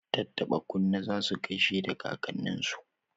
Tattaba kunne za su gaishe da kakanninsu.